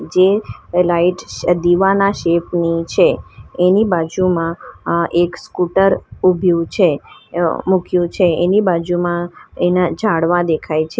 જે લાઈટ્સ છે દીવાના શેપ ની છે એની બાજુમાં આ એક સ્કૂટર ઊભીયું છે અ મૂક્યું છે એની બાજુમાં એના ઝાડવા દેખાય છે.